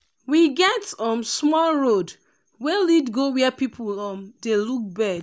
we get um small road wey lead go where people um dey look bird.